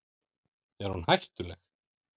Er hún hættuleg?